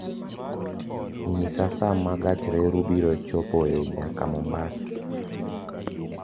Nyisa sa ma gach reru biro chopoe nyaka Mombasa